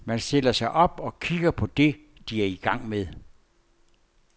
Man stiller sig op og kigger på det, de er i gang med.